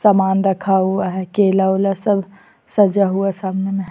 सामान रखा हुआ है केला-वेला सब सजा हुआ सामने में ।